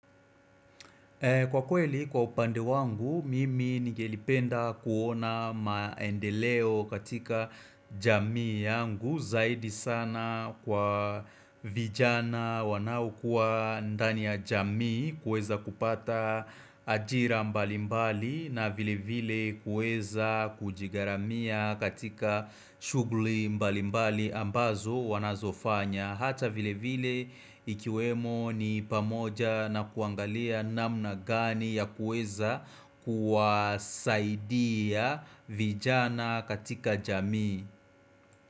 Kwa kweli kwa upande wangu, mimi nigelipenda kuona maendeleo katika jamii yangu zaidi sana kwa vijana wanaokua ndani ya jamii kuweza kupata ajira mbali mbali na vile vile kuweza kujigharamia katika shughuli mbali mbali ambazo wanazofanya. Hata vile vile ikiwemo ni pamoja na kuangalia namna gani ya kuweza kuwasaidia vijana katika jamii.